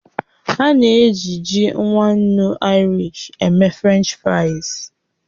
A na-eji ji nwa ńnú Irish eme fries French